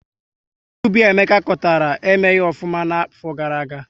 Ihe Ubi Emeka kọtara, emeghị ofụma na afo gara-aga